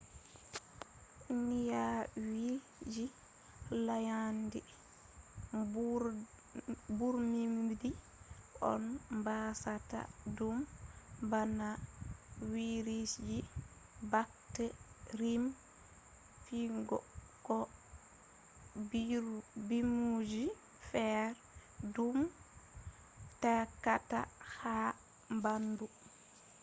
nyawji layandi mburmudi on dasata ɗum bana virusji bakterium fungus ko mburmudiji feere ɗum takkata ha ɓaandu